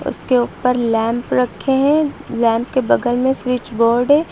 उसके ऊपर लैंप रखे हैं लैंप के बगल में स्विच बोर्ड है।